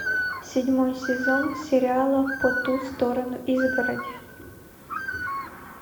седьмой сезон сериала по ту сторону изгороди